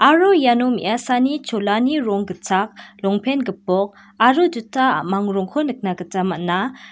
aro iano me·asani cholani rong gitchak longpen gipok aro juta a·mang rongko nikna gita man·a.